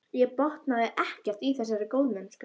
Ég botnaði ekkert í þessari góðmennsku.